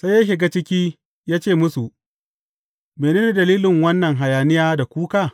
Sai ya shiga ciki, ya ce musu, Mene ne dalilin wannan hayaniya da kuka?